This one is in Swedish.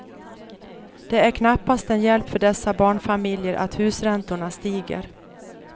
Det är knappast en hjälp för dessa barnfamiljer att husräntorna stiger.